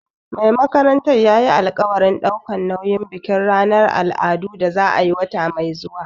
Mai makarantar yayi alƙawarin ɗaukar nauyin bikin ranar al'adu da za a yi wata mai zuwa